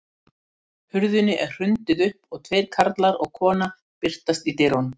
Hurðinni er hrundið upp og tveir karlar og kona birtast í dyrunum.